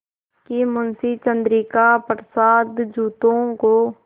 कि मुंशी चंद्रिका प्रसाद जूतों को